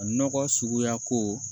Nɔgɔ suguya ko